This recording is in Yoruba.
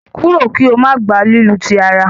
kúrò kò má gbà lílu tí àrà!